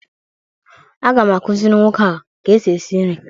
Aga m akụzịrị nwoke a ka e si esi nri